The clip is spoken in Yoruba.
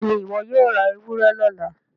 béèni iwọ yóò rá ewúrẹ lọla.